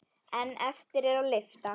En eftir er að lyfta.